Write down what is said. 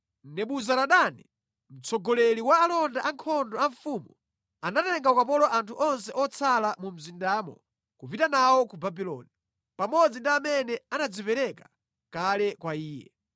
Nebuzaradani, mtsogoleri wa alonda ankhondo a mfumu, anatenga ukapolo anthu onse otsala mu mzindamo kupita nawo ku Babuloni, pamodzi ndi amene anadzipereka kale kwa iye.